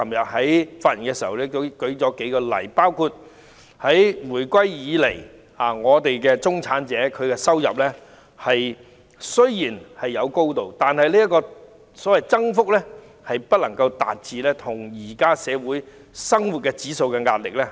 我昨天發言時亦列舉了數個例子，包括自回歸以來，中產人士的收入雖然有增加，但增幅卻追不上目前社會的生活指數。